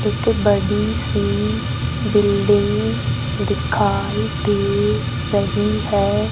एक बड़ी सी बिल्डिंग दिखाई दे रही है।